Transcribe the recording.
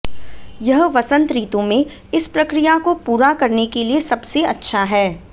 यह वसंत ऋतु में इस प्रक्रिया को पूरा करने के लिए सबसे अच्छा है